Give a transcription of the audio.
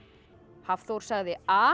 Hafþór sagði a